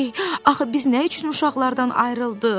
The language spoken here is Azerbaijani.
axı biz nə üçün uşaqlardan ayrıldıq?